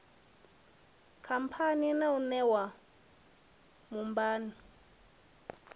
khamphani yau i ṋewa mubhann